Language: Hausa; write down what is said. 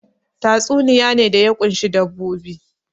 Tatsuniya ne da ya ƙunshi dabbobi